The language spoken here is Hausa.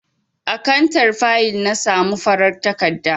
A kantar fayil na samo farar takarda.